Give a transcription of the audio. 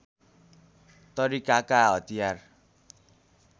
तरिकाका हतियार